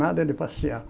Nada de passear.